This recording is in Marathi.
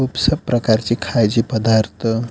खूप साऱ्या प्रकारचे खायचे पदार्थ--